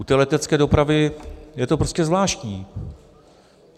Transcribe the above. U té letecké dopravy je to prostě zvláštní.